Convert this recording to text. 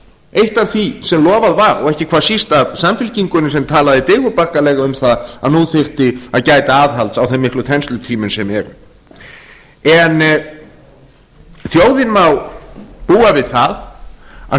eitt af því sem lofað var og ekki hvað síst af samfylkingunni sem talaði digurbarkalega um það að nú þyrfti að gæta aðhalds á þeim miklu þenslutímum sem eru en þjóðin má búa við það að